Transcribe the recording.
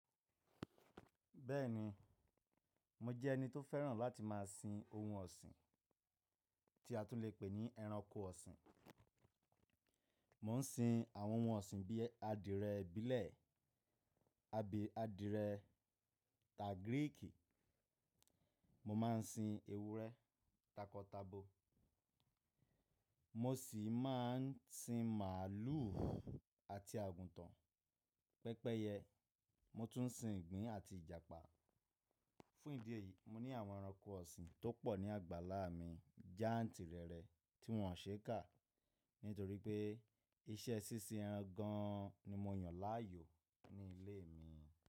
Bẹ́ẹ̀ni, mo jẹ́ ẹni tó fẹ́ràn láti máa sin ohun ọ̀sìn, tí a tún lè pè ní ẹranko ọ̀sìn. Mo ń sin àwọn ohun ọ̀sìn bí i adìẹ ìbílẹ̀ àbí adìẹ tagiríìkì, mo máa ń sin ewúrẹ́ takọtabo, mo sì máa ń sin màlúù àti àgùntàn. Pẹ́pẹ́yẹ, mo tún ń sin ìgbín àti Ìjàpá. Fún ìdí èyí, mo ní àwọn ẹranko ọ̀sìn tó pọ̀ ní àgbàlá mi jáǹtìrẹrẹ tí wọ́n ò ṣe é kà, nítorí pé iṣẹ́ sínsín ẹran gan an ni mo yàn láàyò ní ilé mi.